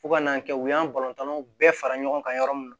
Fo ka n'a kɛ u y'an balontanw bɛɛ fara ɲɔgɔn kan yɔrɔ min na